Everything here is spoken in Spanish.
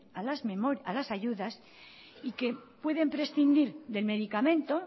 a las ayudas y que pueden prescindir del medicamento